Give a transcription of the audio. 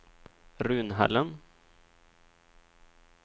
Runhällen